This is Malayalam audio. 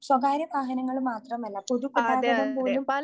സ്വകാര്യവാഹനങ്ങൾ മാത്രമല്ല പൊതു ഗതാഗതം പോലും